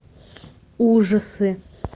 ужасы